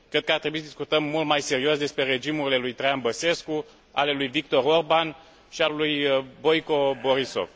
Cred că ar trebui să discutăm mult mai serios despre regimurile lui Traian Băsescu, ale lui Viktor Orbán și ale lui Boyko Borisov.